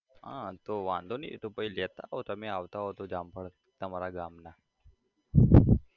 હા તો વાંધો નઈ એતો પહી લેતા આવો તમે આવતા હોય તો જામફળ તમારા ગામના